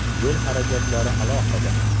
Yo‘l xarajatlari alohida.